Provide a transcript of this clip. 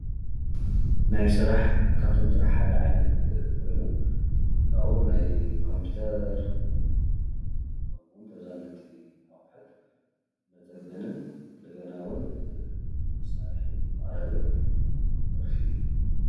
ናይ ስራሕ ካብቶም ሰራሕ ሓደ ዓይነት ኮይኑ ካብኡ ናይ ኮምፒተር ከምኡ እዉን ተዛመድቲ ኣቁሕን መፀገን እንደገና እውን መሳርሕን መቅረብን ዘርፊ እዩ፡፡